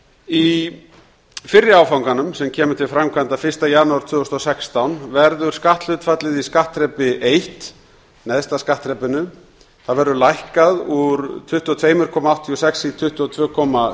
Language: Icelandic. í fyrri áfanganum sem kemur til framkvæmda fyrsta janúar tvö þúsund og sextán verður skatthlutfallið í skattþrepi eitt neðsta skattþrepinu lækkað úr tuttugu og tvö komma áttatíu og sex prósent í tuttugu og tvö komma sextíu